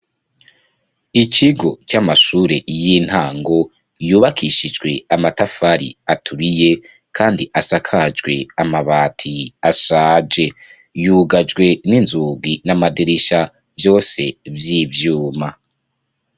Ikigo c'amashure y'intango, yubakishijwe amatafari aturiye, kandi asakajwe amabati ashaje; yugajwe n'inzugi n'amadirisha, vyose vy'ibyuma.